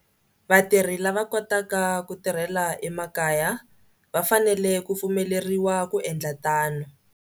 Vatirhi lava va kotaka ku tirhela emakaya va fanele ku pfumeleriwa ku endla tano.